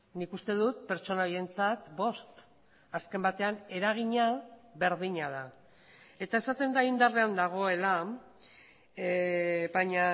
nik uste dut pertsona horientzat bost azken batean eragina berdina da eta esaten da indarrean dagoela baina